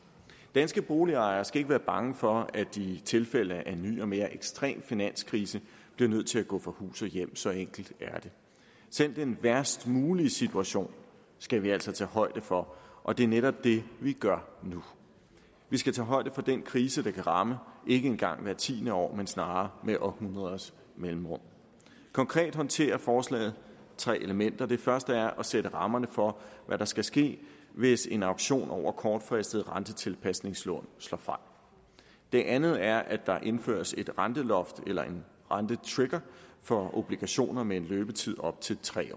danske boligejere skal ikke være bange for at de i tilfælde af en ny og mere ekstrem finanskrise bliver nødt til at gå fra hus og hjem så enkelt er det selv den værst mulige situation skal vi altså tage højde for og det er netop det vi gør nu vi skal tage højde for den krise der kan ramme ikke engang hvert tiende år men snarere med århundreders mellemrum konkret håndterer forslaget tre elementer det første er at sætte rammerne for hvad der skal ske hvis en auktion over kortfristede rentetilpasningslån slår fejl det andet er at der indføres et renteloft eller en rentetrigger for obligationer med en løbetid op til tre